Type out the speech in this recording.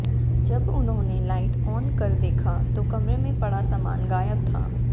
जब उन्होंने light on कर देख तो कमरे में पड़ा सामान गायब था